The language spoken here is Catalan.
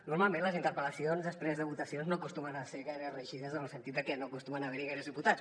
normalment les interpel·lacions després de votacions no acostumen a ser gaire reeixides en el sentit de que no acostuma a haver hi gaires diputats